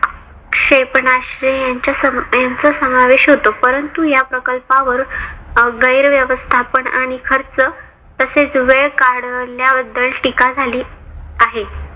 क्षेपणास्त्रे यांचा समावेश होतो. परंतु या प्रकल्पावर गैर व्यवस्थापन आणि खर्च तसेच वेळ काढल्या बद्दल टीका झाली आहे.